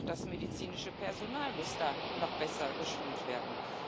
Auch das medizinische Personal muss da noch besser geschult werden.